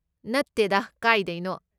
ꯅꯠꯇꯦꯗꯥ ꯀꯥꯏꯗꯩꯅꯣ꯫